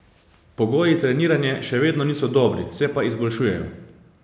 Pogoji treniranja še vedno niso dobri, se pa izboljšujejo.